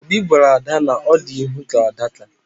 Obi gwara ada na ọ dị ihu ka adaka